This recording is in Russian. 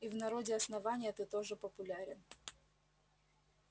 и в народе основания ты тоже популярен